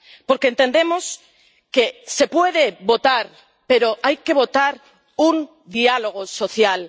Porque entendemos que se puede votar, pero hay que votar un diálogo social.